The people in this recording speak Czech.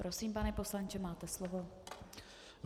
Prosím, pane poslanče, máte slovo.